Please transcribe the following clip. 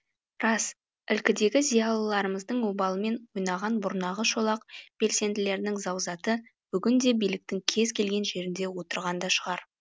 рас ілкідегі зиялыларымыздың обалымен ойнаған бұрнағы шолақ белсенділердің заузаты бүгінде биліктің кез келген жерінде отырған да шығар